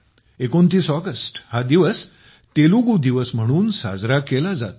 29 August हा दिवस तेलुगु दिवस म्हणून साजरा केला जातो